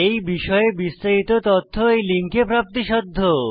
এই বিষয়ে বিস্তারিত তথ্য এই লিঙ্কে প্রাপ্তিসাধ্য